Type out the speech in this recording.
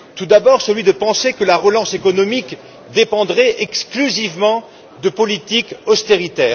Tout d'abord, celui de penser que la relance économique dépendrait exclusivement de politiques d'austérité.